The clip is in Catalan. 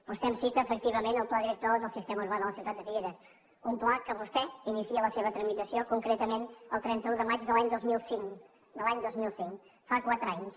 vostè em cita efectivament el pla director del sistema urbà de la ciutat de figueres un pla de què vostè inicia la seva tramitació concretament el trenta un de maig de l’any dos mil cinc de l’any dos mil cinc fa quatre anys